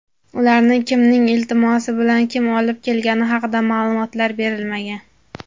ularni kimning "iltimosi" bilan kim olib kelgani haqida ma’lumotlar berilmagan.